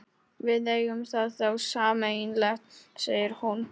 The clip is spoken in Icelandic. Við eigum það þá sameiginlegt, segir hún.